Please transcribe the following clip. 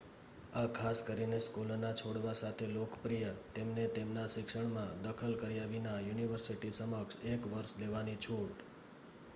આ ખાસ કરીને સ્કૂલના છોડવા સાથે લોકપ્રિય તેમને તેમના શિક્ષણમાં દખલ કર્યા વિના યુનિવર્સિટી સમક્ષ એક વર્ષ લેવાની છૂટ